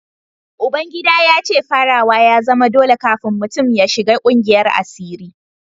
Uba gida ya ce farawa ya zama dole kafin mutum ya shiga kungiyar asiri